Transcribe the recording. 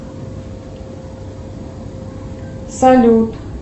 салют